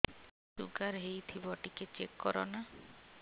sugar ହେଇଥିବ ଟିକେ check କର ନା